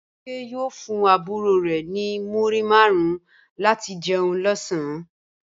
Bímpé yóò fún àbúrò rẹ̀ ní múrí márùn-ún láti jẹun lọ́sàn-án